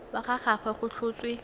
wa ga gagwe go tlhotswe